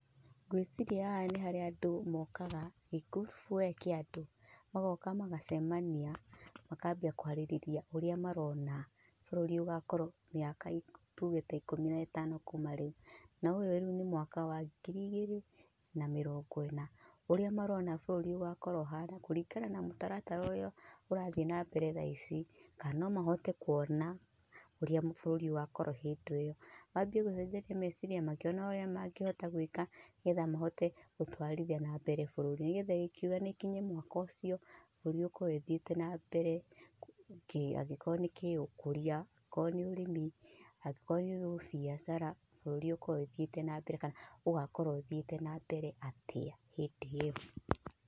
Ngwiciria haha nĩ harĩa andũ mookaga, gĩkurubu we kĩa andũ magoka magacemania makambia kwarĩrĩria ũrĩa marona bũrũri ũgakorwo mĩaka tuuge ta ikũmi na ĩtano kuuma rĩu, na ũyũ nĩ mwaka wa ngiri igĩrĩ na mĩrongo ĩna, ũrĩa marona bũrũri ũgakorwo ũhaana kũringana na mũtaratara ũrĩa ũrathiĩ na mbere thaa ici kana no mahote kuona ũrĩa bũrũri ũgakorwo hĩndĩ ĩyo manjie gũcenjania meciria makĩonaga ũrĩa mangĩhota gwĩka nĩgetha mahote gũtwarithia burũri nĩgetha gũkiuga gũkinye mwaka ũcio bũrũri ũkorwo ũthiĩte na mbere angĩkorwo nĩ kĩũkũria angĩkorwo nĩ ũrĩmi, angĩkorwo nĩ bĩacara, bũrũri ũkorwo ũthiĩte na mbere kana ũgakorwo ũthiĩte na mbere atĩa hĩndĩ ĩyo.